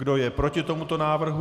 Kdo je proti tomuto návrhu?